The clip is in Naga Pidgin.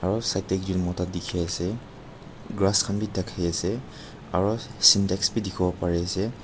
aro side teh ekjon mota dikhi ase krass khan bhi thakhe se aro cintex bhi dikhibo pare ase.